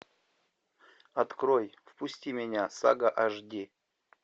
открой впусти меня сага аш ди